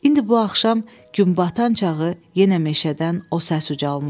İndi bu axşam günbatan çağı yenə meşədan o səs ucalmışdı.